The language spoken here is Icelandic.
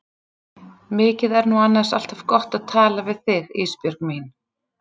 Mikið er nú annars alltaf gott að tala við þig Ísbjörg mín.